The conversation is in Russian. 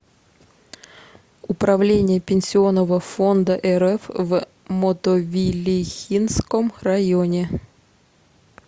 управление пенсионного фонда рф в мотовилихинском районе